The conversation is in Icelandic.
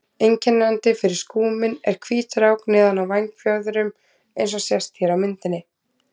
Einkennandi fyrir skúminn er hvít rák neðan á vængfjöðrum eins og sést hér á myndinni.